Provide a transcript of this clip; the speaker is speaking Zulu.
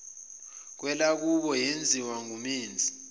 kwelakubo yenziwa ngumenzi